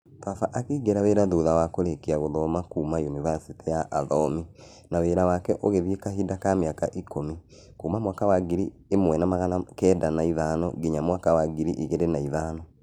Baba akĩingĩra wĩra thutha wa kũrĩkia gũthoma kuma unibasĩtĩ ya Athomi na wĩra wake ũgĩthiĩ kahinda ka mĩaka ikũmĩ kuma mwaka wa ngiri ĩmwe magana kenda na ithano nginya mwaka wa ngiri igĩrĩ na ithano.